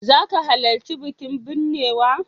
Za ka halarci bikin binnewa?